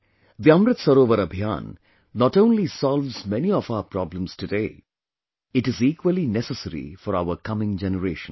The Amrit Sarovar Abhiyan not only solves many of our problems today; it is equally necessary for our coming generations